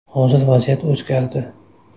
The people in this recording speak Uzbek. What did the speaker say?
Hozir vaziyat o‘zgardi.